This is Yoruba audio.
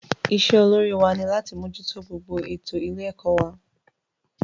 Isé olórí wa ni láti mójútó gbogbo ètò ilé ẹ̀kọ́ wa